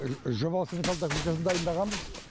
жобалық сметалық документациясын дайындағанбыз